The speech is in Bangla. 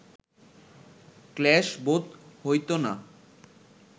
ক্লেশ বোধ হইত না